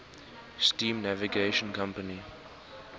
steam navigation company